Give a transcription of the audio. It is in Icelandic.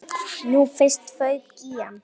Nú fyrst fauk í hann.